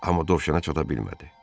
Amma dovşana çata bilmədi.